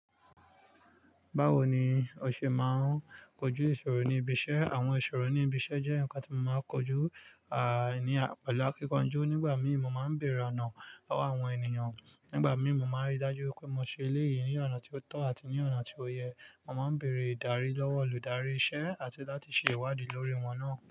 Báwo ni o ṣe máa ń kojú ìṣòro ní ibi iṣẹ́? Àwọn ìṣòro ní ibi iṣẹ́ jẹ́ nǹkan tí mo máa ń kojú, àní, pẹ̀lú akíkanjú. Nígbà mí mo máa ń bèrè oná lọ́wọ́ àwọn ènìyàn. Nígbà mímu máa ń rí dájú pé mo ṣe eléyìí ní ọ̀nà tí ó tọ́ àti ní ọ̀nà tí ó yẹ. Mo máa ń bèrè ìdarí lọ́wọ́ olùdarí iṣẹ́ àti láti ṣe ìwádìí lórí wọn náà.